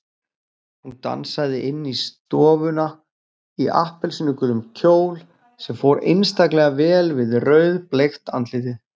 Hún dansaði inn í stofuna í appelsínugulum kjól sem fór einstaklega vel við rauðbleikt andlitið.